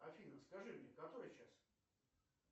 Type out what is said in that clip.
афина скажи мне который час